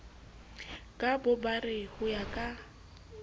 ka bobare ho ya ka